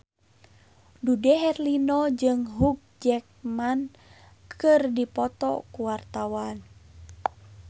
Dude Herlino jeung Hugh Jackman keur dipoto ku wartawan